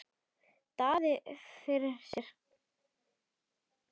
Daði virti hann fyrir sér.